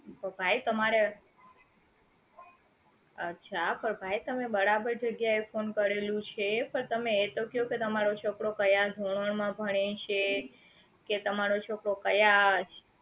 તો ભાઈ તમારે અચ્છા પણ ભાઈ તમે બરાબર જગ્યાએ phone કરેલું છે પણ તમે એ તો કયો કે તમારો છોકરો ક્યાં ધોરણ માં ભણે છે કે તમારો છોકરો ક્યાં